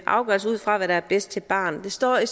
afgørelse ud fra hvad der er bedst for et barn det står i